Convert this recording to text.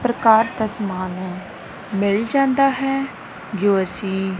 ਪ੍ਰਕਾਰ ਦਾ ਸਮਾਨ ਮਿਲ ਜਾਂਦਾ ਹੈ ਜੋ ਅੱਸੀ--